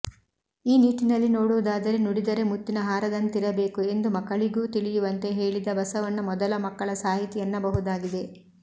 ಈ ನಿಟ್ಟಿನಲ್ಲಿ ನೋಡುವುದಾದರೆ ನುಡಿದರೆ ಮುತ್ತಿನ ಹಾರದಂತಿರಬೇಕು ಎಂದು ಮಕ್ಕಳಿಗೂ ತಿಳಿಯುವಂತೆ ಹೇಳಿದ ಬಸವಣ್ಣ ಮೊದಲ ಮಕ್ಕಳ ಸಾಹಿತಿ ಎನ್ನಬಹುದಾಗಿದೆ